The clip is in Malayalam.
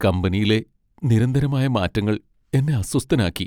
കമ്പനിയിലെ നിരന്തരമായ മാറ്റങ്ങൾ എന്നെ അസ്വസ്ഥനാക്കി.